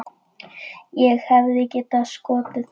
Ég hefði getað skotið hann.